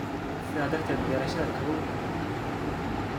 Sidaa darteed, beerashada kalluunka waa muhiim.